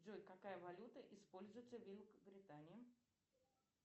джой какая валюта используется в великобритании